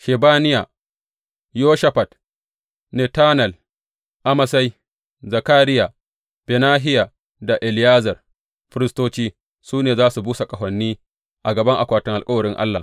Shebaniya, Yoshafat, Netanel, Amasai, Zakariya, Benahiya da Eliyezer firistoci, su ne za su busa ƙahoni a gaban akwatin alkawarin Allah.